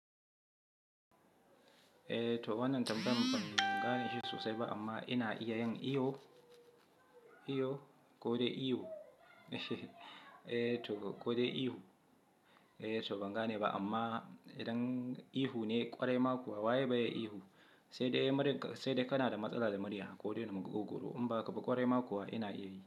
Eh, toh wanan tambayan banganishi sosai ba amma ina iyayen iyo, iwo kode iwo. Eh, thowa kode ihu. Eh, tou bangan ne ba amma idan ihu ne kwarai ma kuwa waye baya ihu. Sai dai murg sai dai kana da matsala da murya kode na magwogoro. Inba haka ba kwarai ma kuwa ina iya yi.